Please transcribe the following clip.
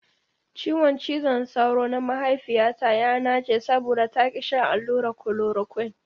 Ciwon cizon sauro na mahaifiyata ya nache saboda ta ki shan allurar kolorokuine.